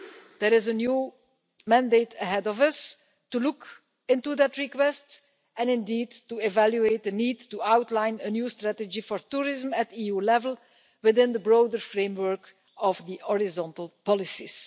There is a new mandate ahead of us to look into that request, and indeed to evaluate the need to outline a new strategy for tourism at the EU level within the broader framework of the horizontal policies.